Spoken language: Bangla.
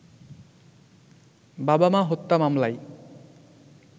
বাবা-মা হত্যা মামলায়